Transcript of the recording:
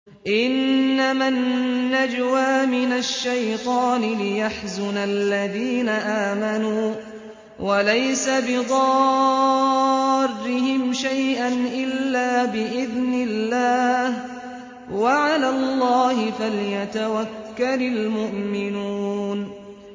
إِنَّمَا النَّجْوَىٰ مِنَ الشَّيْطَانِ لِيَحْزُنَ الَّذِينَ آمَنُوا وَلَيْسَ بِضَارِّهِمْ شَيْئًا إِلَّا بِإِذْنِ اللَّهِ ۚ وَعَلَى اللَّهِ فَلْيَتَوَكَّلِ الْمُؤْمِنُونَ